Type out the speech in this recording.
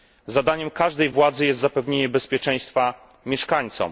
Zadaniem każdej władzy jest zapewnienie bezpieczeństwa mieszkańcom.